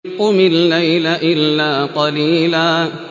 قُمِ اللَّيْلَ إِلَّا قَلِيلًا